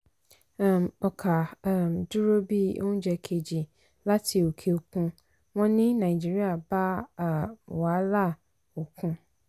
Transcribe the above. um ọkà um dúró bí oúnjẹ kejì láti òkè òkun wọ́n ní nàìjíríà bá um wàhálà òkun.